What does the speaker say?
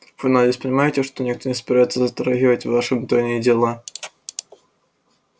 вы надеюсь понимаете что никто не собирается затрагивать ваши внутренние дела